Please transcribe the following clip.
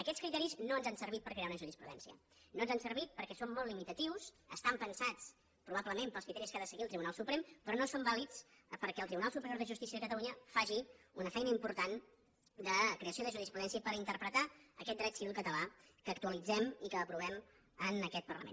aquests criteris no ens han servit per crear una jurisprudència no ens han servit perquè són molt limitatius estan pensats probablement per als criteris que ha de seguir el tribunal suprem però no són vàlids perquè el tribunal superior de justícia de catalunya faci una feina important de creació de jurisprudència i per interpretar aquest dret civil català que actualitzem i que aprovem en aquest parlament